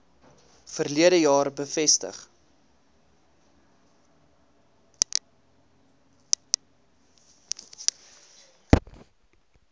verlede jaar bevestig